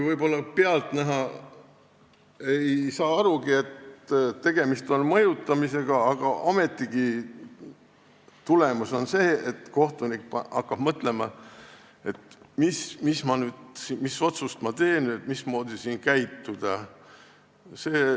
Võib-olla pealtnäha ei saa arugi, et tegemist on mõjutamisega, ometigi on tulemus see, et kohtunik hakkab mõtlema, mis otsuse ta teeb, et mismoodi käituda.